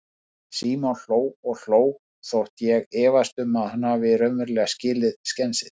Símon hló og hló, þótt ég efist um að hann hafi raunverulega skilið skensið.